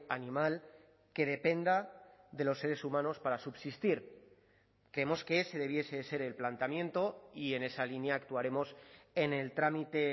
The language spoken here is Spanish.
animal que dependa de los seres humanos para subsistir creemos que ese debiese ser el planteamiento y en esa línea actuaremos en el trámite